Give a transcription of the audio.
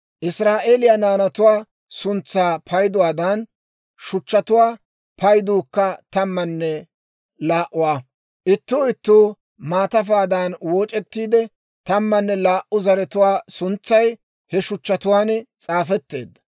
Israa'eeliyaa naanatuwaa suntsaa payduwaadan, shuchchatuwaa payduukka tammanne laa"uwaa; ittuu ittuu maatafaadan wooc'ettiide, tammanne laa"u zaratuwaa suntsay he shuchchatuwaan s'aafetteedda.